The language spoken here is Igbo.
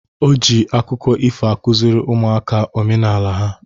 O ji akụkọ ifo akụziri ụmụaka omenala ha.